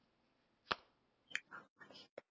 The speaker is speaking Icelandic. Það er vel hægt.